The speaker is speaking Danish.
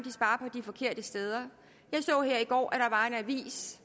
de forkerte steder jeg så her i går at der var en avis